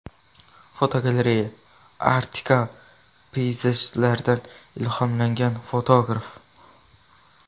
Fotogalereya: Arktika peyzajlaridan ilhomlangan fotograf.